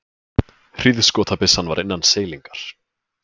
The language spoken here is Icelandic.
Hríðskotabyssan var innan seilingar.